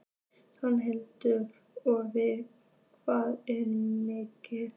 Sighvatur: Og við hvað er miðað?